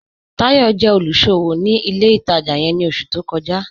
Táyọ̀ jẹ́ olúṣọwọ́ ni ilẹ̀ ìtajá yẹ̀n ni oṣù tó kọ́jà